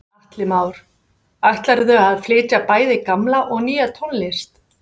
Atli Már: Ætlarðu að flytja bæði gamla og nýja tónlist?